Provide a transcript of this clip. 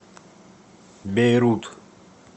бейрут